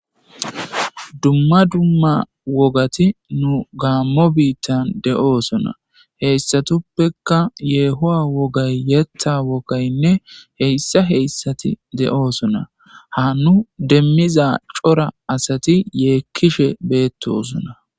duma duma wogati nu gammo biittan de7oosona heyssatuppekka yeehowa wogay yetha wogaynne heyssa heyssati de7osona ha nu demiza cora asati yeekkishe beettosona